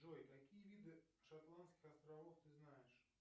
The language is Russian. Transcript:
джой какие виды шотландских островов ты знаешь